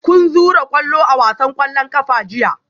Kun zura kwallo a wasan kwallon kafa jiya?